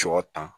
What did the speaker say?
Sɔ tan